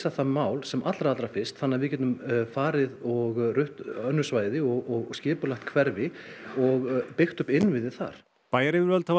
það mál sem allra allra fyrst þannig að við getum farið og rutt önnur svæði og skipulagt hverfi og byggt upp innviði þar bæjaryfirvöld hafa